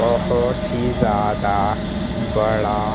बहोत ही ज्यादा बड़ा--